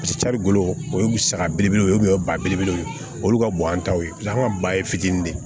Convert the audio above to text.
carikolo o ye saga belebele ye o bali belebelew ye olu ka bon an taw ye an ka ba ye fitiinin de ye